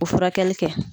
O furakɛli kɛ